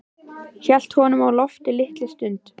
Hélt honum á lofti litla stund.